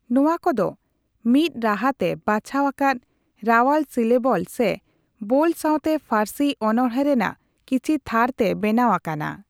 ᱱᱚᱣᱟ ᱠᱚ ᱫᱚ ᱢᱤᱫ ᱨᱟᱦᱟᱛᱮ ᱵᱟᱪᱷᱟᱣ ᱟᱠᱟᱫ ᱨᱟᱣᱟᱞ ᱥᱤᱞᱮᱵᱚᱞ ᱥᱮ ᱵᱳᱞ ᱥᱟᱣᱛᱮ ᱯᱷᱟᱨᱥᱤ ᱚᱱᱚᱬᱦᱮᱸ ᱨᱮᱱᱟᱜ ᱠᱤᱪᱷᱤ ᱛᱷᱟᱨ ᱛᱮ ᱵᱮᱱᱟᱣ ᱟᱠᱟᱱᱟ ᱾